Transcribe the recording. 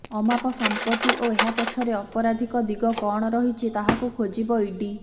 ଅମାପ ସମ୍ପତି ଓ ଏହା ପଛରେ ଅପରାଧିକ ଦିଗ କଣ ରହିଛି ତାହାକୁ ଖୋଜିବ ଇଡି